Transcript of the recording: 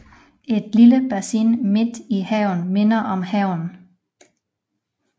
Et lille bassin midt i haven minder om havnen